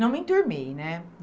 Não me enturmei, né?